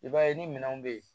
I b'a ye ni minɛnw bɛ yen